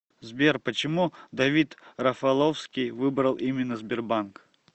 сбер почему давид рафаловский выбрал именно сбербанк